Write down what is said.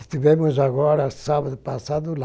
Estivemos agora, sábado passado, lá.